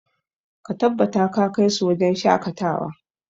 Ka tabbata ka kai su wajen shakatawa!